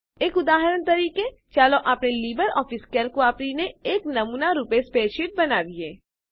એક ઉદાહરણ તરીકે ચાલો આપણે લીબરઓફીસ કેલ્ક વાપરીને એક નમૂનારૂપે સ્પ્રેડશીટ બનાવીએ